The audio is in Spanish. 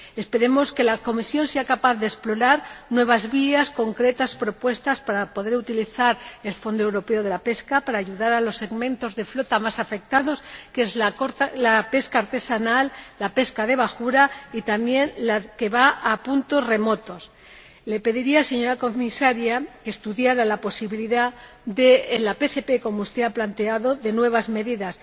Esperemos que la Comisión sea capaz de explorar nuevas vías, propuestas concretas, para poder utilizar el Fondo Europeo de Pesca para ayudar a los segmentos de flota más afectados, que son la pesca artesanal, la pesca de bajura y también la que va a puntos remotos. Le pediría, señora Comisaria, que estudiara la posibilidad de introducir en la PPC, como usted ha planteado, nuevas medidas